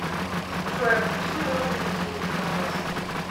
джой отключи мелодию будильника пожалуйста